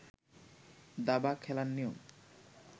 দাবা খেলার নিয়ম